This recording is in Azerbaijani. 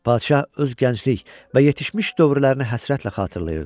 Padşah öz gənclik və yetişmiş dövrlərini həsrətlə xatırlayırdı.